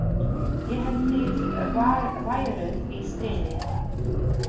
Ég hélt þið væruð í stríði?